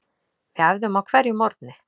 Við æfðum á hverjum morgni.